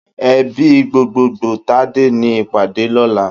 Èbí gbógbógbó Tade ni ipàdé lòlá